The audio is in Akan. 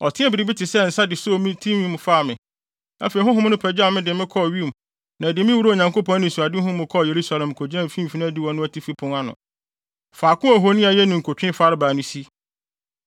Ɔteɛɛ biribi te sɛ nsa de soo me tinwi mu faa me. Afei honhom no pagyaw me de me kɔɔ wim na ɛde me wuraa Onyankopɔn anisoadehu mu kɔɔ Yerusalem kogyinaa mfimfini adiwo no atifi pon ano, faako a ohoni a ɛyɛ ninkutwe farebae no si.